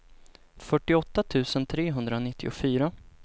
fyrtioåtta tusen trehundranittiofyra